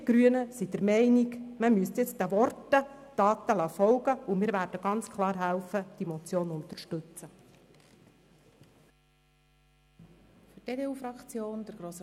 Wir Grünen sind der Meinung, man sollte jetzt den Worten Taten folgen lassen, und wir werden diese Motion ganz klar unterstützen.